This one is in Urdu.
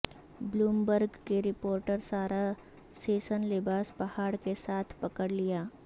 بلومبرگ کے رپورٹر سارا سیسن لباس پہاڑ کے ساتھ پکڑ لیا